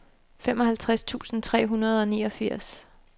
femoghalvtreds tusind tre hundrede og niogfirs